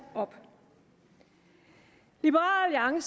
op liberal